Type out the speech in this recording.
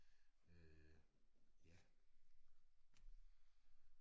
Øh ja